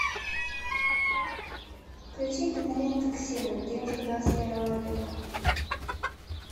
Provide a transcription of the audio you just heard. включи киноленту ксенон девушка двадцать первого века